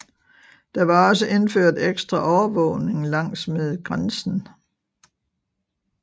Der var også indført ekstra overvågning langsmed grænsen